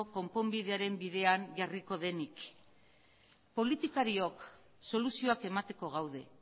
konponbidearen bidean jarriko denik politikariok soluzioak emateko gaude